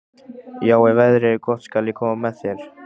Já, ef veðrið er gott skal ég koma með þér.